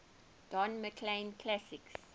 don mclean classics